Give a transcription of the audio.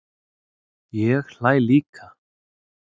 Ég hlæ líka.